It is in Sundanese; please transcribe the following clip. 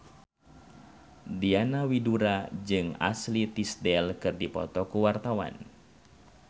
Diana Widoera jeung Ashley Tisdale keur dipoto ku wartawan